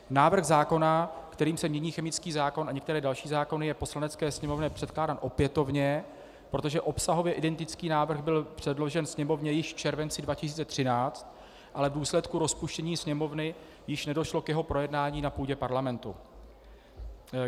Návrh zákona, kterým se mění chemický zákon a některé další zákony, je Poslanecké sněmovně předkládán opětovně, protože obsahově identický návrh byl předložen Sněmovně již v červenci 2013, ale v důsledku rozpuštění Sněmovny již nedošlo k jeho projednání na půdě Parlamentu.